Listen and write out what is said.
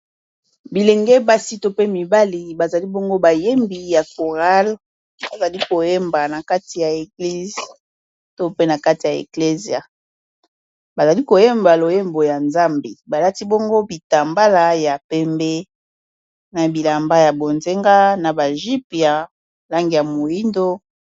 Bilenge basi to pe mibali bazali bongo bayembi ya choral bazali koyemba na kati ya eglise to pe na kati ya eglesia bazali koyemba loyembo ya nzambe balati bongo bitambala ya pembe na bilamba ya bonzenga na ba jupe ya langi ya moyindo.